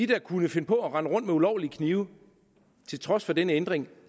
der kunne finde på at rende rundt med ulovlige knive til trods for denne ændring